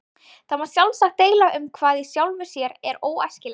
Það má sjálfsagt deila um hvað í sjálfu sér er óæskilegt.